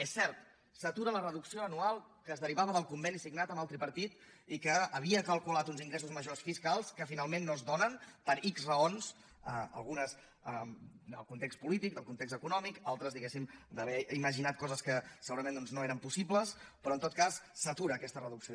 és cert s’atura la reducció anual que es derivava del conveni signat amb el tripartit i que havia calculat uns ingressos majors fiscals que finalment no es donen per ics raons algunes del context polític del context econòmic altres diguéssim d’haver imaginat coses que segurament doncs no eren possibles però en tot cas s’atura aquesta reducció